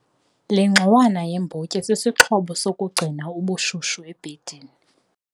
Le ngxowana yeembotyi sisixhobo sokugcina ubushushu ebhedini.